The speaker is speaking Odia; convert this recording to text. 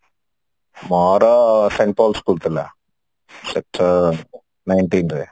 ମୋର school ଥିଲା nineteen ରେ